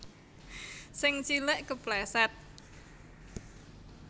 Sing cilik kepleset